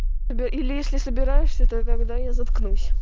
или если собираешься то тогда я заткнусь